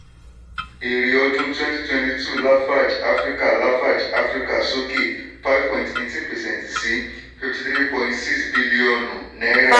èrè ọdún twenty twenty two lafarge africa lafarge africa soke five point eighteen percent sí fifty three point six bílíọ̀nù náírà.